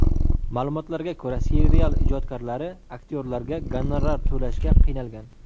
Ma’lumotlarga ko‘ra, serial ijodkorlari aktyorlarga gonorar to‘lashga qiynalgan.